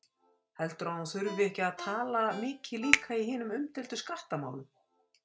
Heldurðu að hún þurfi ekki að tala mikið líka í hinum umdeildu skattamálum?